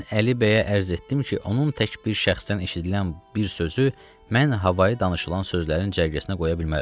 Mən Əli bəyə ərz etdim ki, onun tək bir şəxsdən eşidilən bir sözü mən havayı danışılan sözlərin cərgəsinə qoya bilmərəm.